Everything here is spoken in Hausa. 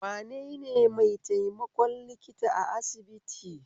Wanene maitaimakon likita a asibiti?